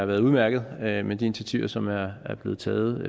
været udmærket med de initiativer som blev taget